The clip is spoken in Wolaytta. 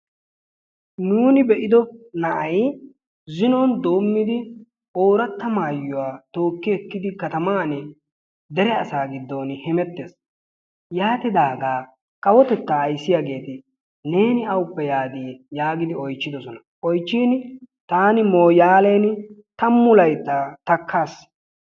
Nuuni be'ido naa'ay zinon doomidi ooratta maayuwa tookki ekkidi katamaan dere asaa gidon hemettees. Yaatidaagaa kawotettaa ayssiyaageeti neeni awuppe yaadi yaagidi oychchidosona. Oychchiin taani moyaaleni tammu layttaa takkaas.